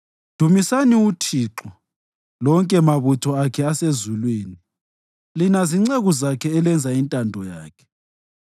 Dumisani uThixo, lonke mabutho akhe asezulwini, lina zinceku zakhe elenza intando yakhe.